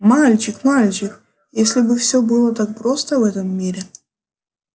мальчик мальчик если бы все было так просто в этом мире